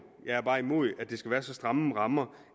jeg er bare imod at der skal være så stramme rammer